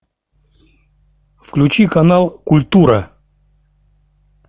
включи канал культура